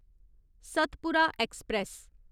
Satpura express